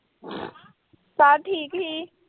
Sir ਠੀਕ ਸੀ।